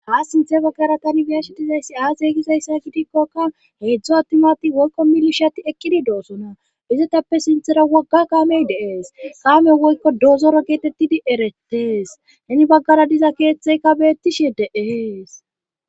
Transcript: Ha sinthe pokera tani biyashetizayssi aas yeygizayssa gidikkoka heedzdzo attimati woykko milishati ekkidi doosona izetappe sinthera wogga kaamey deees qaamey woykko doozoro geetettidi eretees heni baggara diza keeththeyka beettishe deees.